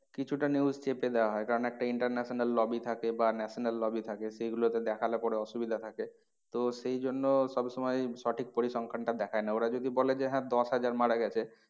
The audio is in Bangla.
কিছুটা news চেপে দেওয়া হয় কারণ একটা international lobby থাকে বা national lobby থাকে। সেই গুলোতে দেখালে পরে অসুবিধা থাকে। তো সেই জন্য সব সময় সঠিক পরিসংখ্যানটা দেখায় না ওরা যদি বলে যে হ্যাঁ দশ হাজার মারা গেছে